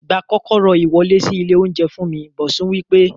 Gba kókóró iwọle si ile ounjẹ fún mi! Bosun wí pé